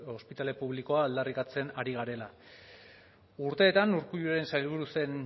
ospitale publikoa aldarrikatzen ari garela urteetan urkulluren sailburu zen